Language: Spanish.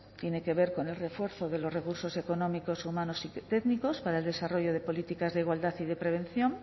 tiene que ver con el refuerzo de los recursos económicos humanos y técnicos para el desarrollo de políticas de igualdad y de prevención